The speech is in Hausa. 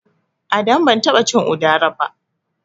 Adamu ban taɓa cin Udara ba.